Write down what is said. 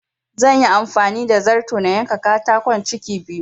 Zanyi amfani da zarto na yanka katakon ciki biyu